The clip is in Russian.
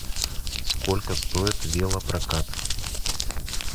сколько стоит велопрокат